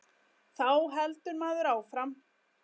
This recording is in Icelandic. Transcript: Þá heldur maður áfram.